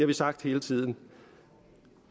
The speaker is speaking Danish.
vi sagt hele tiden